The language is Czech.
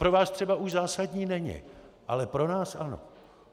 Pro vás třeba už zásadní není, ale pro nás ano.